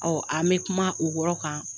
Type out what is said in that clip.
an bɛ kuma o yɔrɔ kan.